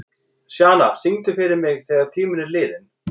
Sjana, syngdu fyrir mig „Þegar tíminn er liðinn“.